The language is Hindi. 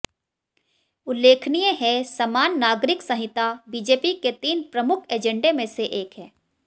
उल्लेखनीय है समान नागिरक संहिता बीजेपी के तीन प्रमुख एजेंडे में से एक है